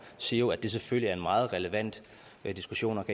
siger jo at det selvfølgelig er en meget relevant diskussion og